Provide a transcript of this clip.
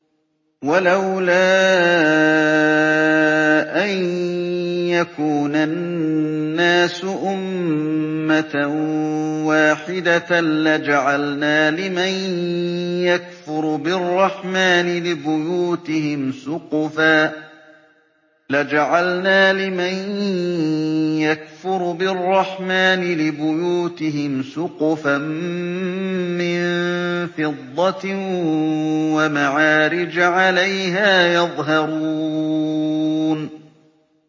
وَلَوْلَا أَن يَكُونَ النَّاسُ أُمَّةً وَاحِدَةً لَّجَعَلْنَا لِمَن يَكْفُرُ بِالرَّحْمَٰنِ لِبُيُوتِهِمْ سُقُفًا مِّن فِضَّةٍ وَمَعَارِجَ عَلَيْهَا يَظْهَرُونَ